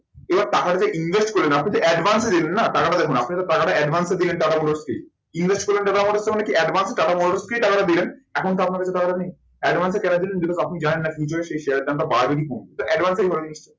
এবার টাকা যদি invest করলেন আপনি তো advance এ দিলেন না। টাকাটা দেখুন আপনি তো টাকাটা advance এ দিলেন টাটা মোটরস কে invest করলেন টাটা মোটরস এ মানে কি advance এ টাটা মোটরসকেই টাকাটা দিলেন। এখন তো আপনার কাছে টাকাটা নেই। advance এ টাকা দিলেন যেটাতে আপনি জানেন না কি সেই share এর দামটা বাড়বে কি কমবে তো advance